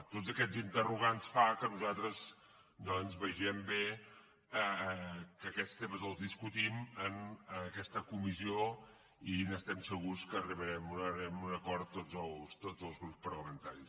tots aquests interrogants fan que nosaltres doncs vegem bé que aquests temes els discutim en aquesta comissió i estem segurs que arribarem a un acord tots els grups parlamentaris